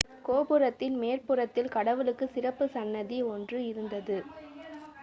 கோபுரத்தின் மேற்புறத்தில் கடவுளுக்குச் சிறப்பு சன்னதி ஒன்று இருந்தது